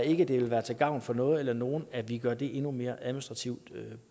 ikke det vil være til gavn for noget eller nogen at vi gør det endnu mere administrativt